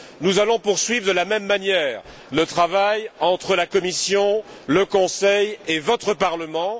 Nous allons poursuivre, de la même manière, le travail entre la Commission, le Conseil et votre Parlement.